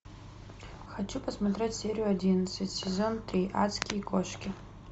хочу посмотреть серию одиннадцать сезон три адские кошки